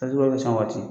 san waati